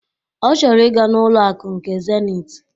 Ọ chọrọ ị ga n'ụlọ akụ nke Zenit